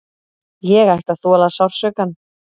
Ég ætti að þola sársaukann.